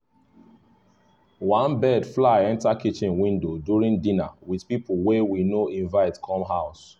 one bird fly enter kitchen window during dinner with people wey we no invite come house